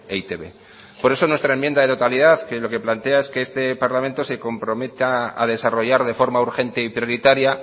e i te be por eso nuestra enmienda de totalidad que lo que plantea es que este parlamento se comprometa a desarrollar de forma urgente y prioritaria